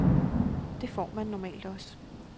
Det får man normalt også.